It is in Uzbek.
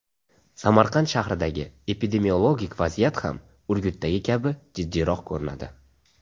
Samarqand shahridagi epidemiologik vaziyat ham Urgutdagi kabi jiddiyroq ko‘rinadi.